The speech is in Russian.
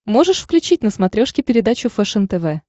можешь включить на смотрешке передачу фэшен тв